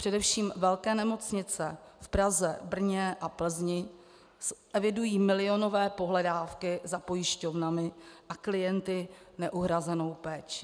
Především velké nemocnice v Praze, Brně a Plzni evidují milionové pohledávky za pojišťovnami a klienty neuhrazenou péčí.